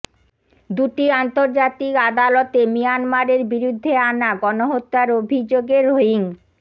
দুটি আন্তর্জাতিক আদালতে মিয়ানমারের বিরুদ্ধে আনা গণহত্যার অভিযোগে রোহিঙ্